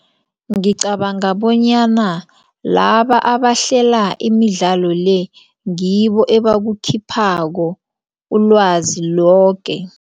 Ngicabanga bonyana laba abahlela imidlalo le ngibo abakukhiphako ulwazi loke.